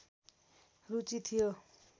रुचि थियो